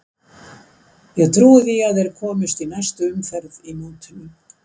Ég trúi því að þeir komist í næstu umferð í mótinu.